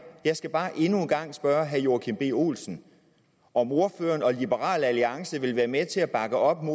jeg skal bare endnu en gang spørge herre joachim b olsen om ordføreren og liberal alliance vil være med til at bakke op om